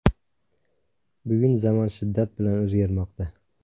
Bugun zamon shiddat bilan o‘zgarmoqda.